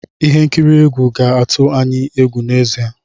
Ihe nkiri egwu ga-atụ anyị egwu n'ezie.